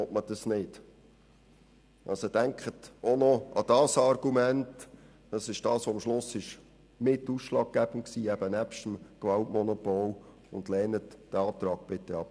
Denken Sie also auch noch an dieses Argument, das am Schluss zusammen mit dem Gewaltmonopol ausschlaggebend war und lehnen Sie diesen Antrag bitte ab.